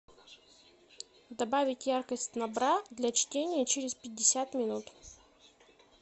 добавить яркость на бра для чтения через пятьдесят минут